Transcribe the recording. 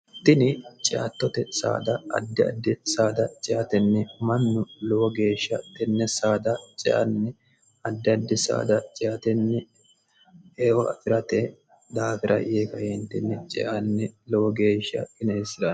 tini ciattote saada addi addi saada ciatenni mannu lowo geeshsha tenne saada ceanni addi addi saada ciatenni eofirate daafira yee kaiindinni ceanni lowo geeshsha ineheesserane